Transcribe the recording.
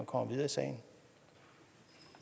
og den sag